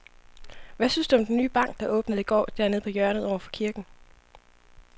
Hvad synes du om den nye bank, der åbnede i går dernede på hjørnet over for kirken?